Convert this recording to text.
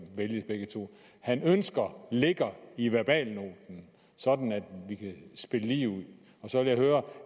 vælges begge to han ønsker ligger i verbalnoten sådan at vi kan spille lige ud og så vil jeg høre